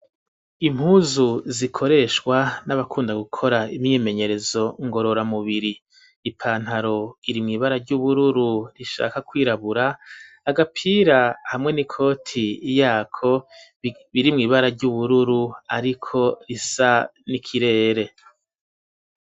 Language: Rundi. Impuzu zikoreshwa n'abakunda gukora imyimenyerezo ngorora mubiri ,ipantaro iri mw 'ibara ry'ubururu ,rishaka kwirabura, agapira hamwe n'ikoti yako biri mw' ibara ry'ubururu ,ariko risa n'ikirere.